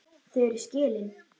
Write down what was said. Þau eru skilin.